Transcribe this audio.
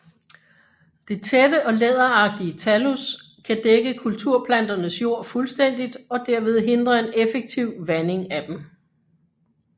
Det tætte og læderagtige thallus kan dække kulturplanternes jord fuldstændigt og derved hindre en effektiv vanding af dem